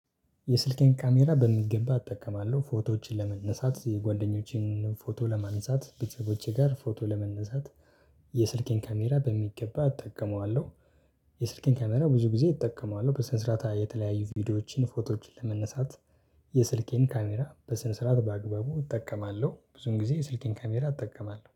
የስልኬን ካሜራ በሚገባ አጠቀማለው ፎቶዎችን ለመነሳት የጓደኞቼን ፎቶ ለማነሳት ቤተሰቦቼ ጋር ፎቶ ለመነሳት። የስልኬን ካሜራ በሚገባ እጠቀመዋለው። የስልኬን ካሜራ ብዙ ጊዜ እጠቀመዋለው በስነ ስርዓት የተለያዩ ቪዲዮዎችን ፎቶዎችን ለመነሳት። የስልኬን ካሜራ በስነ ስርዓት በአግባቡ እጠቀማለው ብዙን ጊዜ የስልኬን ካሜራ እጠቀማለሁ